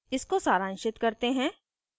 इसको सारांशित करते हैं